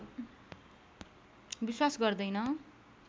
विश्वास गर्दैन